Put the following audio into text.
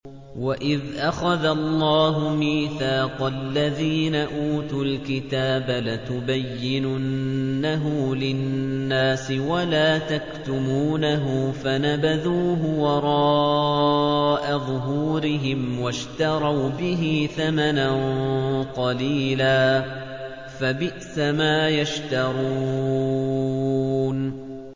وَإِذْ أَخَذَ اللَّهُ مِيثَاقَ الَّذِينَ أُوتُوا الْكِتَابَ لَتُبَيِّنُنَّهُ لِلنَّاسِ وَلَا تَكْتُمُونَهُ فَنَبَذُوهُ وَرَاءَ ظُهُورِهِمْ وَاشْتَرَوْا بِهِ ثَمَنًا قَلِيلًا ۖ فَبِئْسَ مَا يَشْتَرُونَ